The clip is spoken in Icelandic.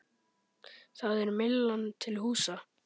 Þar er Myllan til húsa.